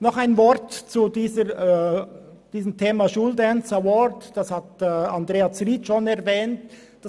Noch ein Wort zum School Dance Award, den Grossrätin Zryd bereits erwähnt hat: